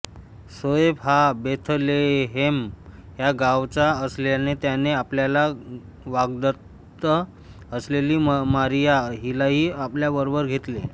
योसेफ हा बेथलेहेम या गावचा असल्याने त्याने आपल्याला वाग्दत्त असलेली मारिया हिलाही आपल्या बरोबर घेतले